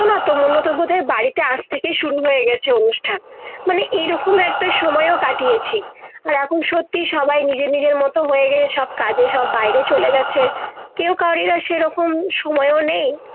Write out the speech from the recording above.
মনে হয় বোধ হয় বাড়িতে আজ থেকে শুরু হয়ে গেছে অনুষ্ঠান মানে এই রকম একটা সময় ও কাটিয়েছি আর এখন সত্যি সবাই নিজে নিজের মত হয়ে গেলে সব কাজে সব বাইরে চলে গেছে কেও কাউরে সে রকম সময় ও নেই